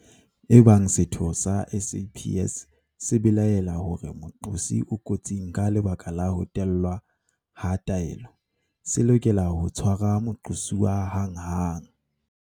Ebang setho sa SAPS se belaela hore moqosi o kotsing ka lebaka la ho tellwa ha taelo, se lokela ho tshwara moqosuwa hanghang.